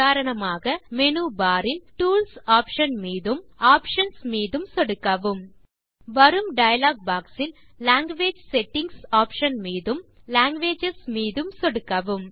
உதாரணமாக menu bar இல் tools option மீதும் பின் ஆப்ஷன் கள் மீதும் சொடுக்கவும் வரும் டயலாக் boxஇல் லாங்குவேஜ் செட்டிங்ஸ் ஆப்ஷன் மீதும் கடைசியாக லாங்குவேஜஸ் மீதும் சொடுக்கவும்